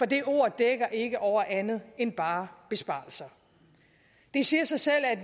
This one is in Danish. det ord dækker ikke over andet end bare besparelser det siger sig selv at